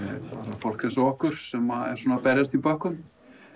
fólk eins og okkur sem er að berjast í bökkum